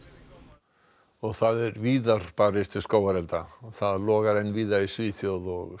og það er víðar barist við skógarelda það logar enn víða í Svíþjóð og